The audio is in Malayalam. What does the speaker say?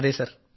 അതേ സർ